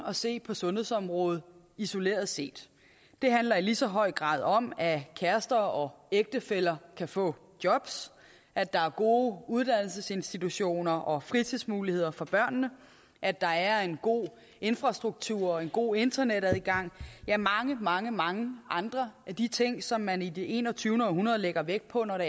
at se på sundhedsområdet isoleret set det handler i lige så høj grad om at kærester og ægtefæller kan få jobs at der er gode uddannelsesinstitutioner og fritidsmuligheder for børnene at der er en god infrastruktur en god internetadgang ja mange mange mange andre af de ting som man i det enogtyvende århundrede lægger vægt på når